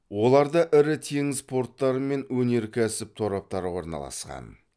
оларда ірі теңіз порттары мен өнеркәсіп тораптары орналасқан